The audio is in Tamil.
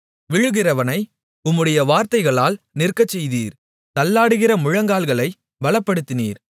விழுகிறவனை உம்முடைய வார்த்தைகளால் நிற்கச்செய்தீர் தள்ளாடுகிற முழங்கால்களைப் பலப்படுத்தினீர்